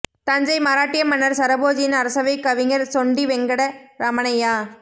தஞ்சை மராட்டிய மன்னர் சரபோஜியின் அரசவைக் கவிஞர் சொண்டி வெங்கட ரமணய்யா